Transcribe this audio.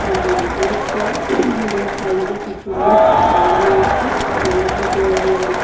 সামনে ডেকোরেট করা এবং সাইড-এ কিছু লিস্ট টাঙ্গানো আছে এবং ভিতরে--